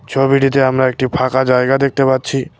ছবিটিতে আমরা একটি ফাঁকা জায়গা দেখতে পাচ্ছি।